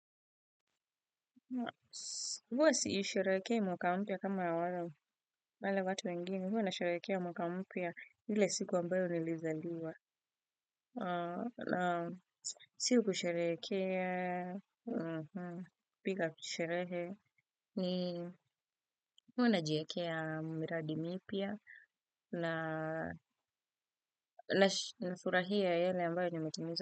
Huwa siisharekea mwaka mpia kama ya wale wale watu wengine. Huwa nasharekea mwaka mpia hile siku ambayo nilizaliwa. Siku kusharekea, pika kusharehe. Huwa najiekea miradimi ipia na surahia yale ambayo nimetimiza.